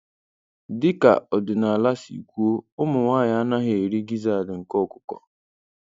Dị ka ọdịnala si kwuo, ụmụ nwanyị anaghị eri gizzard nke ọkụkọ.